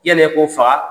Yani e k'o faga